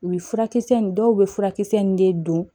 U ye furakisɛ in dɔw bɛ furakisɛ in de don